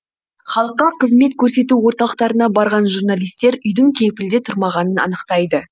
халыққа қызмет көрсету орталықтарына барған журналистер үйдің кепілде тұрмағанын анықтайды